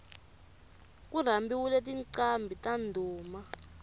ku rhambiwile tinqambhi ta ndhuma